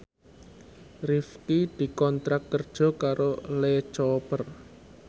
Rifqi dikontrak kerja karo Lee Cooper